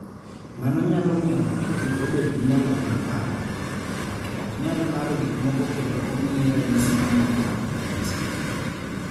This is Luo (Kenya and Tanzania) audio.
Mano nyalo miyo ng�ato kik obed gi nyalo mar paro, ng�ato ok nyal paro gik moko kendo omiye ranyisi mamoko mag ng�ut.